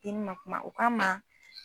I ma bina kuma u k'an ma